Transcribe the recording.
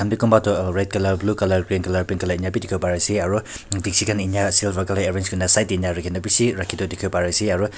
kunba tuh red colour blue colour grey colour pink colour ena bhi dekhevo pare ase aro dekhshi khan enya ase arrange kurina side dae rakhina beshi rakhey tuh dekhevo pare ase aro--